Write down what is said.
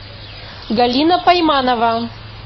галина пайманова